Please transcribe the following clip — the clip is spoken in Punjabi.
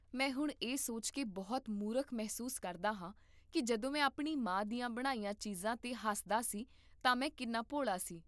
ਮੈਂ ਹੁਣ ਇਹ ਸੋਚ ਕੇ ਬਹੁਤ ਮੂਰਖ ਮਹਿਸੂਸ ਕਰਦਾ ਹਾਂ ਕਿ ਜਦੋਂ ਮੈਂ ਆਪਣੀ ਮਾਂ ਦੀਆਂ ਬਣਾਈਆਂ ਚੀਜ਼ਾਂ 'ਤੇ ਹੱਸਦਾ ਸੀ ਤਾਂ ਮੈਂ ਕਿੰਨਾ ਭੋਲਾ ਸੀ